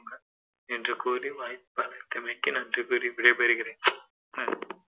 என்று கூறி வாய்ப்பளித்தமைக்கு நன்றி கூறி விடை பெறுகிறேன்